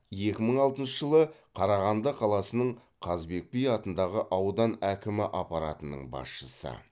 екі мың алтыншы жылы қарағанды қаласының қазыбек би атындағы аудан әкімі аппаратының басшысы